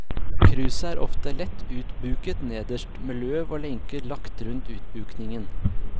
Kruset er ofte lett utbuket nederst, med løv og lenker lagt rundt utbukningen.